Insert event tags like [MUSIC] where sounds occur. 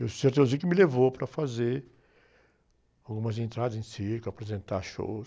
E o [UNINTELLIGIBLE] que me levou para fazer algumas entradas em circo, apresentar shows.